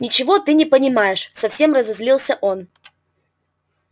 ничего ты не понимаешь совсем разозлился он